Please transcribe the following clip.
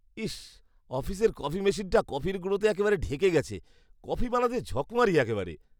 ইস, অফিসের কফি মেশিনটা কফির গুঁড়োতে একেবারে ঢেকে গেছে। কফি বানাতে ঝকমারি একেবারে।